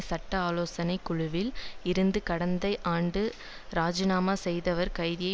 சட்ட ஆலோசனை குழுவில் இருந்து கடந்த ஆண்டு ராஜிநாமா செய்தவர் கைதியை